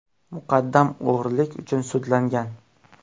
Muqaddam o‘g‘rilik uchun sudlangan.